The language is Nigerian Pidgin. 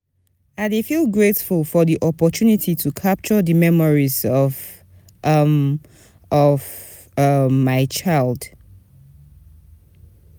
I dey feel grateful for di opportunity to capture di memories of um of um my child.